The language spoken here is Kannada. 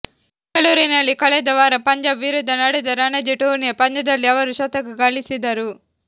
ಬೆಂಗಳೂರಿನಲ್ಲಿ ಕಳೆದ ವಾರ ಪಂಜಾಬ್ ವಿರುದ್ಧ ನಡೆದ ರಣಜಿ ಟೂರ್ನಿಯ ಪಂದ್ಯದಲ್ಲಿ ಅವರು ಶತಕ ಗಳಿಸಿದರು